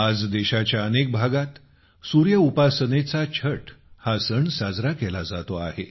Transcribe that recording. आज देशाच्या अनेक भागात सूर्य उपासनेचा छठ हा सण साजरा केला जातो आहे